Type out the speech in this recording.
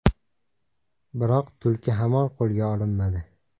Biroq tulki hamon qo‘lga olinmadi.